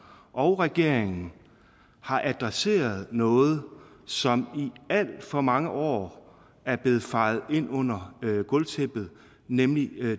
og regeringen har adresseret noget som i alt for mange år er blevet fejet ind under gulvtæppet nemlig